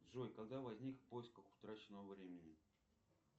джой когда возник в поисках утраченного времени